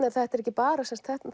er ekki bara